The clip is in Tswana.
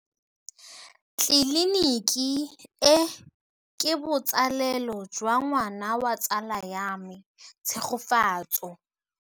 Tleliniki e, ke botsalêlô jwa ngwana wa tsala ya me Tshegofatso.